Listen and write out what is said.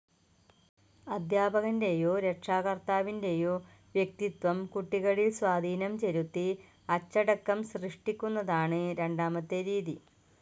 അധ്യാപകൻ്റെയോ രക്ഷകർത്താവിൻ്റെയോ വ്യക്തിത്വം കുട്ടികളിൽ സ്വാധീനം ചെലുത്തി അച്ചടക്കം സൃഷ്ടിക്കുന്നതാണ് രണ്ടാമത്തെ രീതി.